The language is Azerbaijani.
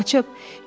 Yoxsa qaçıb?